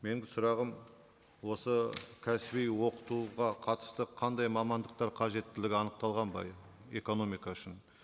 менің сұрағым осы кәсіби оқытуға қатысты қандай мамандықтар қажеттілігі анықталған ба экономика үшін